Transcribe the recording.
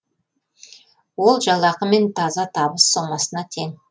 ол жалақы мен таза табыс сомасына тең